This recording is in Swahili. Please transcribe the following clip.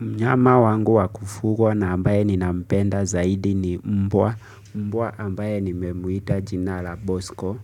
Mnyama wangu wa kufugwa na ambaye ni nampenda zaidi ni mbwa, mbwa ambaye ni memuita jina la bosko